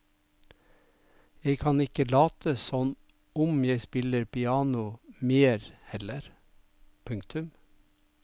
Jeg kan ikke late som om jeg spiller piano mer heller. punktum